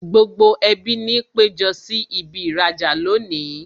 Gbogbo ẹbí ni péjọ sí ibi īrajà lónìí